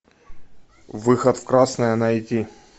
выход в красное найди